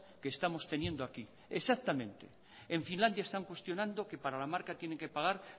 que estamos teniendo aquí exactamente en finlandia están cuestionando que para la marca tienen que pagar